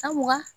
An mugan